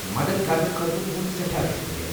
مدتھ کرنہٕ خٲطرٕ تُہُند سٮ۪ٹھاہ شُکریہ ۔